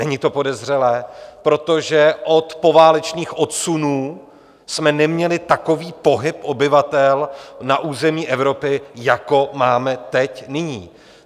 Není to podezřelé, protože od poválečných odsunů jsme neměli takový pohyb obyvatel na území Evropy, jako máme teď, nyní.